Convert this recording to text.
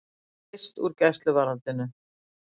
Leyst úr gæsluvarðhaldi